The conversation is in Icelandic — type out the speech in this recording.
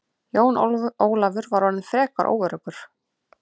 Jón Ólafur var orðinn frekar óöruggur.